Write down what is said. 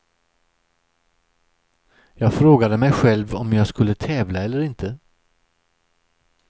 Jag frågade mig själv om jag skulle tävla eller inte.